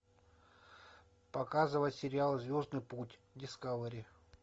показывай сериал звездный путь дискавери